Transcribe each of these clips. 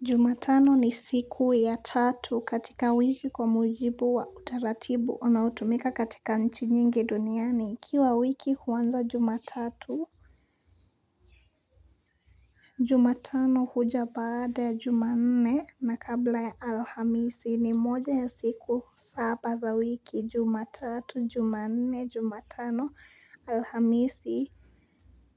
Jumatano ni siku ya tatu katika wiki kwa mujibu wa utaratibu unaoutumika katika nchi nyingi duniani ikiwa wiki huanza jumatatu, jumatano huja baada ya jumanne na kabla ya alhamisi ni moja ya siku saba za wiki, jumatatu, jumanne, jumatano, alhamisi,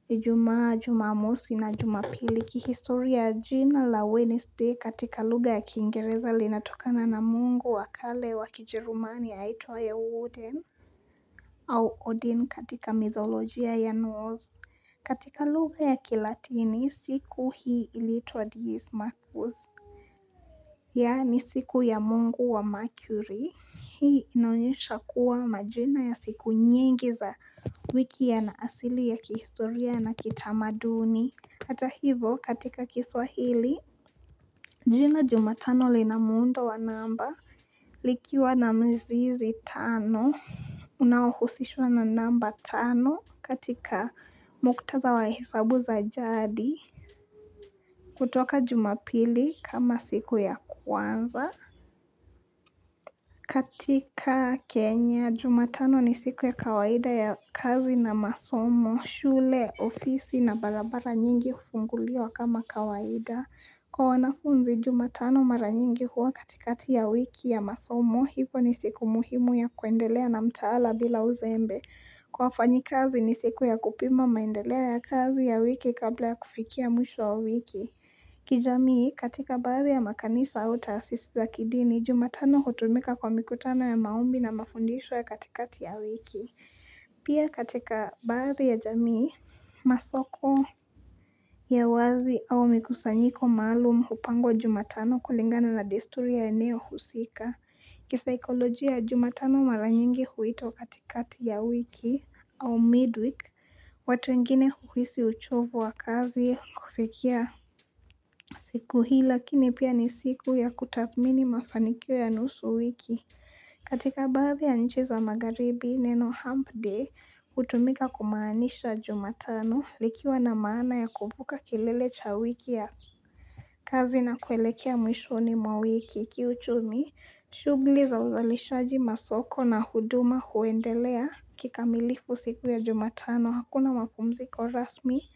ijumaa jumamosi na jumapili. Kihistoria jina la Wednesday katika lugha ya kiingereza linatokana na mungu wa kale wa kijerumani aitwaye Wooden. Au Odin katika mythologia ya North. Katika lugha ya kilatini siku hii iliitwa Deez Marcos. Yaani siku ya mungu wa Mercury. Hii inaonyesha kuwa majina ya siku nyingi za wiki yana asili ya kihistoria na kitamaduni. Ata hivo katika kiswahili, jina jumatano lina muundo wa namba, likiwa na mzizi tano, unaohusishwa na namba tano katika muktadha wa hisabu za jadi, kutoka jumapili kama siku ya kwanza. Katika Kenya, jumatano ni siku ya kawaida ya kazi na masomo, shule, ofisi na barabara nyingi hufunguliwa kama kawaida Kwa wanafunzi jumatano mara nyingi huwa katikati ya wiki ya masomo, hivo ni siku muhimu ya kuendelea na mtaala bila uzembe Kwa wafanyikazi ni siku ya kupima maendeleo ya kazi ya wiki kabla ya kufikia mwisho wa wiki kijamii katika baadhi ya makanisa au taasisi za kidini jumatano hutumika kwa mikutano ya maombi na mafundisho ya katikati ya wiki. Pia katika baadhi ya jamii masoko ya wazi au mikusanyiko maalum hupangwa jumatano kulingana na desturi ya eneo husika. Kisaikoloji ya jumatano mara nyingi huitwa katikati ya wiki au midweek, watu wengine huhisi uchovu wa kazi kufikia siku hii lakini pia ni siku ya kutathmini mafanikio ya nusu wiki. Katika baadhi ya nchi za magharibi neno hump day hutumika kumaanisha jumatano likiwa na maana ya kuepuka kilele cha wiki ya kazi na kuelekea mwishoni mwa wiki kiuchumi Shughli za uzalishaji masoko na huduma huendelea kikamilifu siku ya jumatano Hakuna mapumziko rasmi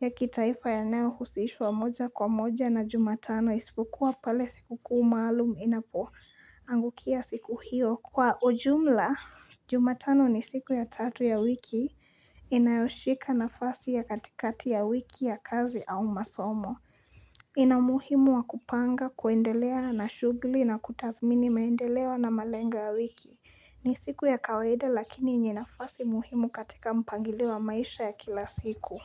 ya kitaifa yanayohusishwa moja kwa moja na jumatano. Isipokuwa pale sikukuu maalum inapoangukia siku hio. Kwa ujumla, jumatano ni siku ya tatu ya wiki inayoshika nafasi ya katikati ya wiki ya kazi au masomo. Ina umuhimu wa kupanga kuendelea na shugli na kutathmini maendeleo na malengo ya wiki. Ni siku ya kawaida lakini yenye nafasi muhimu katika mpangilio wa maisha ya kila siku.